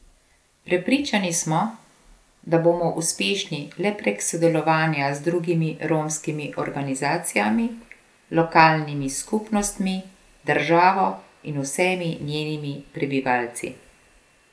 Prepričani smo, da bomo uspešni le prek sodelovanja z drugimi romskimi organizacijami, lokalnimi skupnostmi, državo in vsemi njenimi prebivalci.